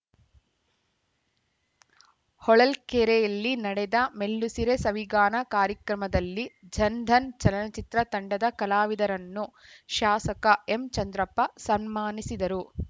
ಹೊಳಲ್ಕೆರೆಯಲ್ಲಿ ನಡೆದ ಮೆಲ್ಲುಸಿರೆ ಸವಿಗಾನ ಕಾರ್ಯಕ್ರಮದಲ್ಲಿ ಜನ್‌ಧನ್‌ ಚಲನಚಿತ್ರ ತಂಡದ ಕಲಾವಿದರನ್ನು ಶಾಸಕ ಎಂಚಂದ್ರಪ್ಪ ಸನ್ಮಾನಿಸಿದರು